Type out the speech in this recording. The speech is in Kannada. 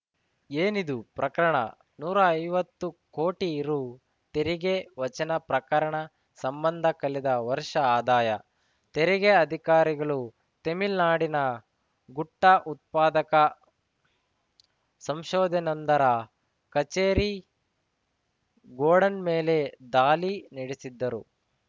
ಏನಿದು ಪ್ರಕರಣ ನೂರಾ ಐವತ್ತು ಕೋಟಿ ರು ತೆರಿಗೆ ವಚನೆ ಪ್ರಕರಣ ಸಂಬಂಧ ಕಳೆದ ವರ್ಷ ಆದಾಯ ತೆರಿಗೆ ಅಧಿಕಾರಿಗಳು ತೆಮಿಳ್ನಾಡಿನ ಗುಟ್ಟಾ ಉತ್ಪಾದಕ ಸಂಷೋದನೊಂದರ ಕಚೇರಿ ಗೋಡೌನ್‌ ಮೇಲೆ ದಾಳಿ ನಡೆಸಿದ್ದರು